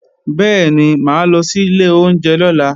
Bẹ́ẹ̀ni, mà á lọ sí ilé oúnjẹ lọ́la